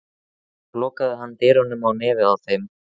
Svo lokaði hann dyrunum á nefið á þeim.